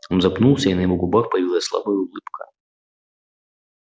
он запнулся и на его губах появилась слабая улыбка